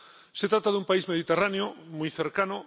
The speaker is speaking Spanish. Se trata de un país mediterráneo, muy cercano.